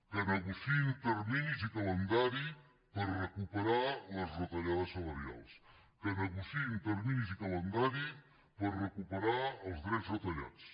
que negociïn terminis i calendari per recuperar les retallades salarials que negociïn terminis i calendari per recuperar els drets retallats